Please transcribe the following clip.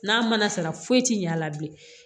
N'a mana sara foyi ti ɲɛ a la bilen